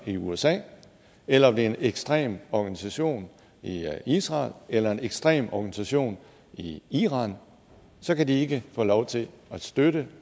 i usa eller om det er en ekstrem organisation i israel eller en ekstrem organisation i iran så kan de ikke få lov til at støtte